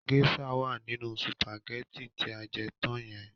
Géṣà wá nínú sùpàgétì tí a jẹ tán yẹn.